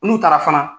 N'u taara fana